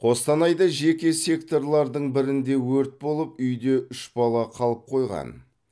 қостанайда жеке секторлардың бірінде өрт болып үйде үш бала қалып қойған